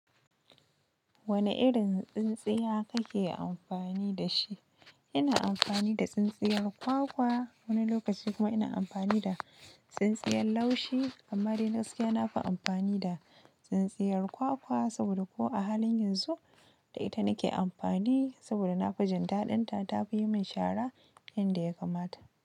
Wane irin tsintsiya kake amfani da shi? Ina amfani da tsintsiyar kwakwa, wani lokaci kuma ina amfani da tsintsiyar laushi. Amma dai gaskiya na fi amfani da tsintsiyar kwakwa saboda ko a halin yanzu da ita nake amfani saboda na fi jin daɗinta. Ta fi yi min shara yan da ya kamata.